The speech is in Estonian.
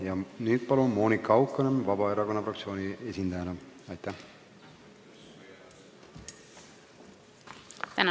Ja nüüd palun Monika Haukanõmm Vabaerakonna fraktsiooni esindajana.